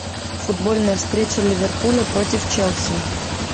футбольная встреча ливерпуля против челси